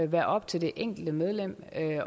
være op til det enkelte medlem at